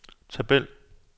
tabel